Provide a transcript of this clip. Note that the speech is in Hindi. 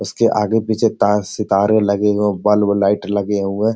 उसके आगे पीछे तार सितारे लगे हो बल्ब लाइट लगे हुए --